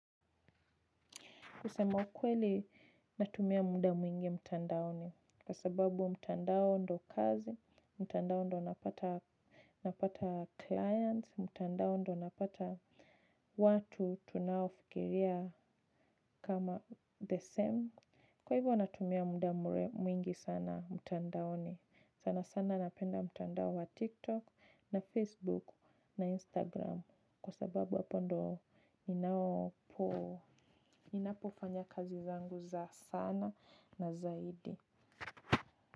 Kusema ukweli natumia muda mwingi mtandaoni kwa sababu mtandao ndo kazi, mtandao ndo napata clients, mtandao ndo napata watu tunaofikiria kama the same. Kwa hivyo natumia muda mwingi sana mtandaoni sana sana napenda mtandao wa tiktok na facebook na instagram kwa sababu hapo ndio ninapofanya kazi zangu. Asana na zaidi.